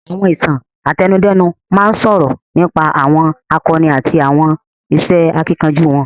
Àwọn Ìtàn àtẹnudẹ́nu máa ń sọ̀rọ̀ nípa àwọn àkọni àti àwọn iṣẹ́ akíkanjú wọn